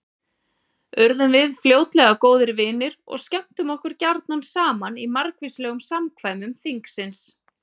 Urðum við fljótlega góðir vinir og skemmtum okkur gjarna saman í margvíslegum samkvæmum þingsins.